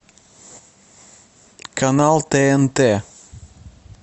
канал тнт